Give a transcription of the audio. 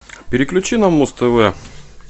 переключи на муз тв